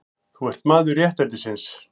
Þú ert maður réttlætisins.